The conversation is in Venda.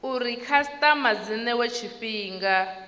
uri khasitama dzi newe tshifhinga